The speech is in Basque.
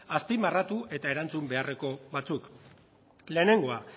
azpimarratu eta erantzun beharreko batzuk lehenengoa